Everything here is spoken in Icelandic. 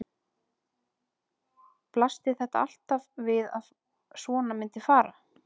Blasti þetta alltaf við að svona myndi fara?